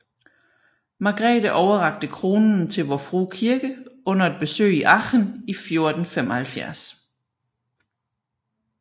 Margrete overrakte kronen til Vor Frue Kirke under et besøg i Aachen i 1475